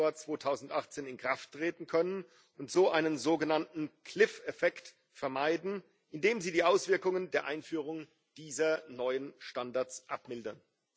1. Januar 2018 in Kraft treten können, um so einen sogenannten Klippeneffekt vermeiden, indem sie die Auswirkungen der Einführung dieser neuen Standards abmildern.